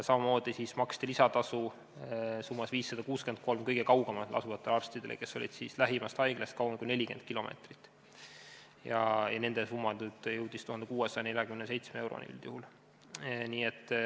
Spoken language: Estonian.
Samamoodi maksti varem lisatasu summas 563 kõige kaugemal asuvatele arstidele, kes olid lähimast haiglast kaugemal kui 40 kilomeetrit, nende summa jõudis nüüd 1647 euroni.